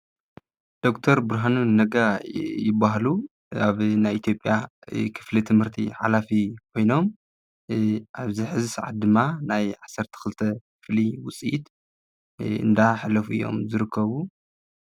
ዶ/ር ብርሃኑ ነጋ ይባሃሉ፡፡ ኣብ ናይ ኢትዮጵያ ክፍሊ ትምህርቲ ሓላፊ ኮይኖም ኣብዚ ሕዚ ሰዓት ድማ ናይ 12 ክፍሊ ውፅኢት እንዳሕለፉ እዮም ዝርከቡ፡፡